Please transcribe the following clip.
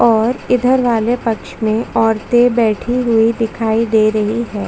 और इधर वाले पक्ष में औरते बैठी हुई दिखाई दे रही है।